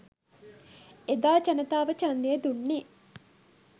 එදා ජනතාව ඡන්දය දුන්නේ